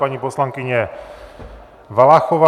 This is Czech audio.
Paní poslankyně Valachová.